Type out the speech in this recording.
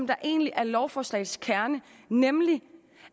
der egentlig er lovforslagets kerne nemlig